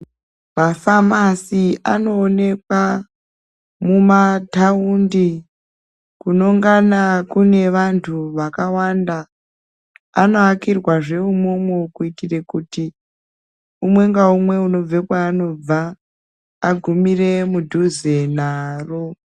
Mafamasi anoonekwa mumataundi kunongana kune vantu vakawanda. Anovakirwazve imwomwo kuitire kuti umwe ngaumwe unenga une kwaanobva agumire mudhuze naro.